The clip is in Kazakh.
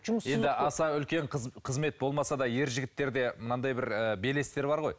енді аса үлкен қызмет болмаса да ержігіттерде мынандай бір ыыы белестер бар ғой